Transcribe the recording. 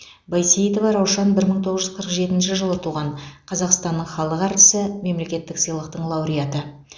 байсейітова раушан бір мың тоғыз жүз қырық жетінші жылы туған қазақстанның халық әртісі мемлекеттік сыйлықтың лауреаты